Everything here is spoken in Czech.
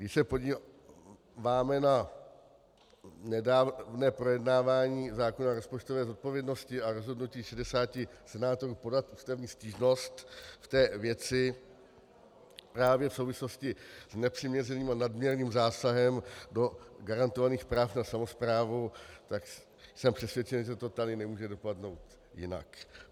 Když se podíváme na nedávné projednávání zákona o rozpočtové odpovědnosti a rozhodnutí 60 senátorů podat ústavní stížnost v té věci právě v souvislosti s nepřiměřeným a nadměrným zásahem do garantovaných práv na samosprávu, tak jsem přesvědčen, že to tady nemůže dopadnout jinak.